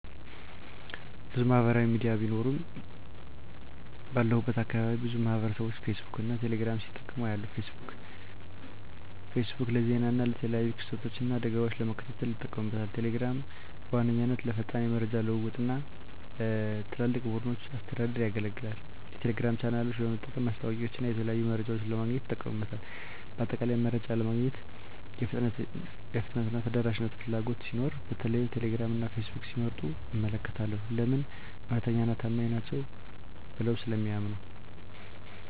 **ብዙ ማህበራዊ ሚዲያ ቢኖሩም፦ ባለሁበት አካባቢ ብዙ ማህበረሰብቦች ፌስቡክን እና ቴሌ ግራምን ሲጠቀሙ አያለሁ፤ * ፌስቡክ: ፌስቡክ ለዜና እና የተለያዩ ክስተቶችን እና አደጋወችን ለመከታተል ይጠቀሙበታል። * ቴሌግራም: ቴሌግራም በዋነኛነት ለፈጣን የመረጃ ልውውጥ እና ለትላልቅ ቡድኖች አስተዳደር ያገለግላል። የቴሌግራም ቻናሎችን በመጠቀም ማስታወቂያወችንና የተለያዩ መረጃዎችን ለማግኘት ይጠቀሙበታል። በአጠቃላይ፣ መረጃ ለማግኘት የፍጥነትና የተደራሽነት ፍላጎት ሲኖር በተለይም ቴሌግራም እና ፌስቡክን ሲመርጡ እመለከታለሁ። *ለምን? እውነተኛና ታማኝ ናቸው ብለው ስለሚያምኑ።